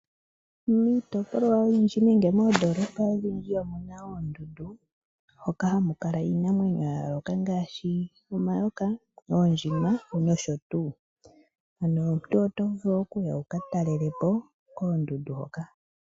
Miitopolwa oyindji nenge moondolopa odhindji omu na oondundu moka hamu kala iinamwenyo yayooloka ngaashi omayoka, oondjima nosho tu. Omuntu oto vulu okuya wuka talele po koondundu hoka.